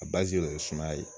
A basi yɛrɛ ye sumaya ye.